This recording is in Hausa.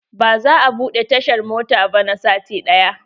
Ba za a buɗe tashar mota ba na sati ɗaya.